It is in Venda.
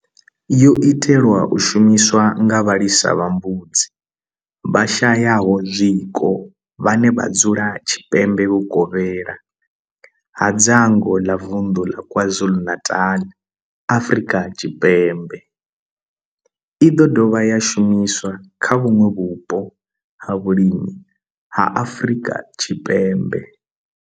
Yo itelwa u shumiswa nga vhalisa vha mbudzi vhashayaho zwiko vhane vha dzula tshipembe vhukovhela ha dzangu ḽa vunḓu la KwaZulu-Natal, Afrika Tshipembe i do dovha ya shumiswa kha vhuṋwe vhupo ha vhulimi ha Afrika Tshipembe.